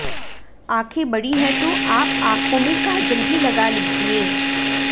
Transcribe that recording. आंखें बड़ी हैं तो आप आंखाें में काजल भी लगा लीजिए